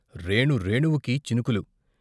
రేణు రేణువుకీ చినుకులు.